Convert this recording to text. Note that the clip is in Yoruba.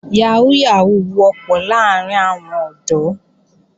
Yàhóó Yàhóó wọ́pọ̀ láàrín àwọn ọ̀dọ́